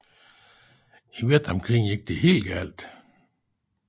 I Vietnamkrigen gik det helt galt